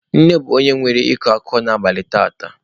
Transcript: Nne bụ onye nwe ịkọ akụkọ n'abalị taata.